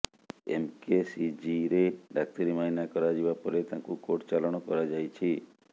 M K C ଜିରେ ଡାକ୍ତରୀ ମଇନା କରାଯିବା ପରେ ତାଙ୍କୁ କୋର୍ଟ ଚାଲାଣ କରାଯାଇଛି